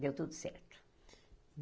Deu tudo certo.